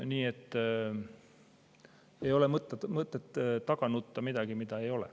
Nii et ei ole mõtet taga nutta midagi, mida ei ole.